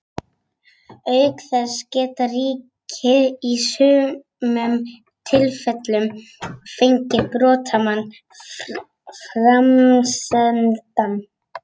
Auk þess geta ríki í sumum tilfellum fengið brotamann framseldan.